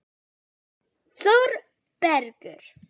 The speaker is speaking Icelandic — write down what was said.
Þórbergur